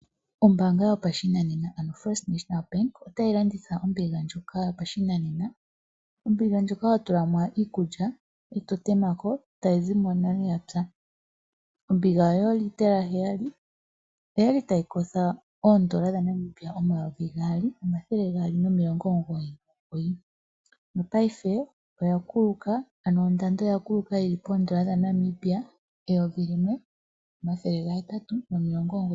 Ombaanga yopashinanena yoFNB otayi landitha ombiga ndjoka yopashinanena. Ombiga ndjoka ho tulamo wala iikulya e to temako tayi zimo nale yapya. Ombiga oyoolitela heyali, oyali tayi kotha N$2299 nopaife ondando oya kuluka yi li poN$ 1899.00.